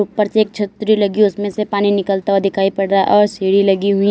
ऊपर से एक छतरी लगी उसमें से पानी निकलता हुआ दिखाई पड़ रहा है और सीढ़ी लगी हुई--